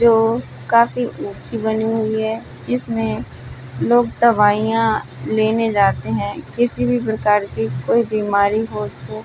जो काफी ऊंची बनी हुई है जिसमें लोग दवाइयां लेने जाते हैं किसी भी प्रकार की कोई बीमारी हो तो।